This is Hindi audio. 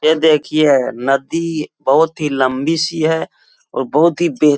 ये देखिए नदी बहुत ही लम्बी सी है और बहुत ही बेह --